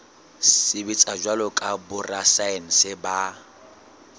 sebetsa jwalo ka borasaense ba